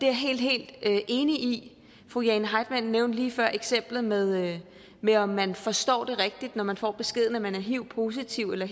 jeg helt helt enig i fru jane heitmann nævnte lige før eksemplet med med om man forstår det rigtigt når man får den besked at man er hiv positiv eller